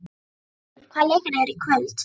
Katrín, hvaða leikir eru í kvöld?